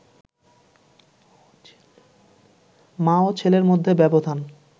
মা ও ছেলের মধ্যে ব্যবধান